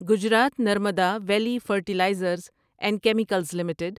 Gujarat Narmada valley fertilizers and chemicals limited